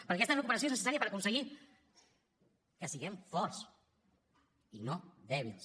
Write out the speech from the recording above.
perquè aquesta recuperació és necessària per aconseguir que siguem forts i no dèbils